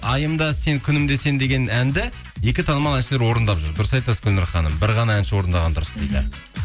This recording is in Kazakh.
айым да сен күнім де сен деген әнді екі танымал әншілер орындап жүр дұрыс айтасыз гүлнұр ханым бір ғана әнші орындаған дұрыс дейді